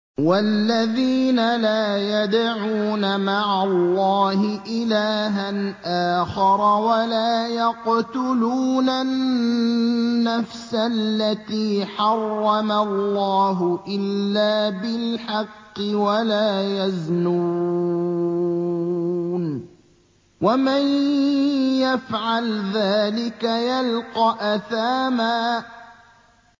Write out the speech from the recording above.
وَالَّذِينَ لَا يَدْعُونَ مَعَ اللَّهِ إِلَٰهًا آخَرَ وَلَا يَقْتُلُونَ النَّفْسَ الَّتِي حَرَّمَ اللَّهُ إِلَّا بِالْحَقِّ وَلَا يَزْنُونَ ۚ وَمَن يَفْعَلْ ذَٰلِكَ يَلْقَ أَثَامًا